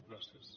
gràcies